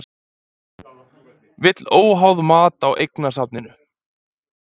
Vill óháð mat á eignasafninu